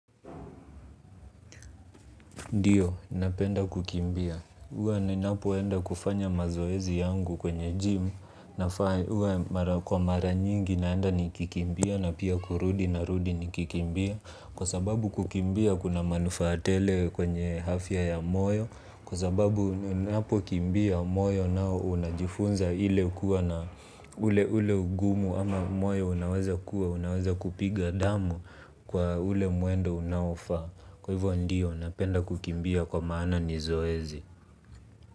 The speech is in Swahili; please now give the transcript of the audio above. Ndiyo, napenda kukimbia. Uwa niniapoenda kufanya mazoezi yangu kwenye GYM. Huwa kwa mara nyingi naenda nikikimbia na pia kurudi narudi nikikimbia kwa sababu kukimbia kuna manufaa tele kwenye afya moyo. Kwa sababu niniapokimbia moyo nao unajifunza ile kuwa na ule ule ugumu ama moyo unaweza kuwa, unaweza kupiga damu kwa ule mwendo unaofaa. Kwa hivyo ndio napenda kukimbia kwa maana ni zoezi.